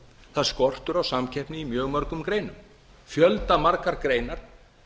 það er skortur á samkeppni í mjög mörgum greinum mjög margar greinar